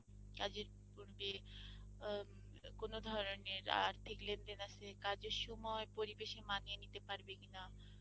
কাজের পূর্বে আ কোনো ধরনের আর্থিক লেনদেন আছে, কাজের সময় পরিবেশে মানিয়ে নিতে পারবে কিনা?